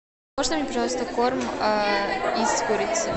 можно мне пожалуйста корм из курицы